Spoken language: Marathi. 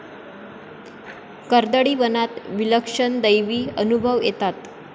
कर्दळीवनात विलक्षण दैवी अनुभव येतात.